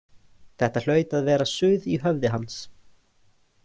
Þetta hlaut að vera suð í höfði hans.